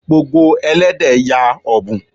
Gbogbo Ẹlẹ́dẹ̀ ya ọ́bùn.